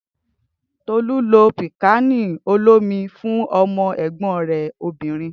Tolu lo pikkani olomi fún ọmọ ẹgbọn rẹ obinrin.